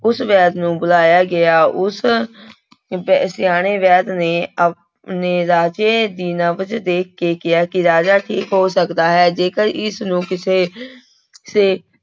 ਉਸ ਵੈਦ ਨੂੰ ਬੁਲਾਇਆ ਗਿਆ, ਉਸ ਵੈ ਸਿਆਣੇ ਵੈਦ ਨੇ ਆ ਨੇ ਰਾਜੇ ਦੀ ਨਬਜ਼ ਦੇਖ ਕੇ ਕਿਹਾ ਕਿ ਰਾਜਾ ਠੀਕ ਹੋ ਸਕਦਾ ਹੈ ਜੇਕਰ ਇਸਨੂੰ ਕਿਸੇ ਸੇ